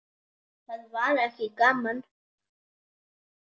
Það var ekki gaman.